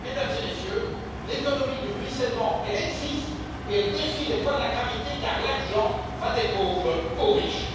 Eh bien, Mesdames et Messieurs, l'économie du ruissellement existe, et elle défie les lois de la gravité, car l'argent va des pauvres aux riches.